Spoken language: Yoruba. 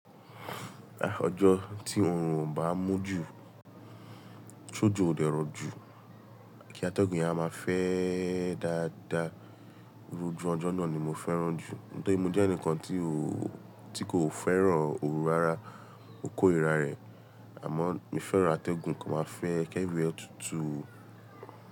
Ọjọ́ tí òórùn bá mújù, sójò o dẹ̀rọ̀ jù, kí atẹ́gùn ya máa fẹ́ dáadáa. Irú ojú ọjọ́ náà ni mo fẹ́ràn jù. Nítorí mo jẹ́ ẹnìkan tí ó, tí kò fẹ́ràn òru rara, mo kó rira rẹ̀. Àmọ́ mo fẹ́ràn atẹ́gùn kí ó máa fẹ́ kì everywhere ẹ tutù.